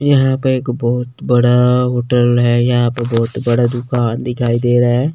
यहां पे एक बहोत बड़ा होटल है यहां पे बहोत बड़ा दुकान दिखाई दे रहा है।